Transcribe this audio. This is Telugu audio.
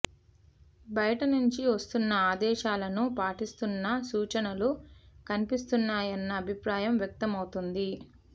బయట నుంచి వస్తున్న ఆదేశాలను పాటిస్తున్న సూచనలు కనిపిస్తున్నాయన్న అభిప్రాయం వ్యక్తమవుతోంది